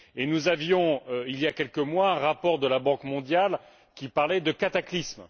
Nous avions, il ya quelques mois, un rapport de la Banque mondiale qui parlait de cataclysme.